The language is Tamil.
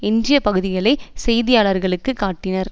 எஞ்சிய பகுதிகளை செய்தியாளர்களுக்கு காட்டினர்